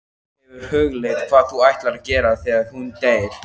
Hefurðu hugleitt hvað þú ætlar að gera þegar hún deyr?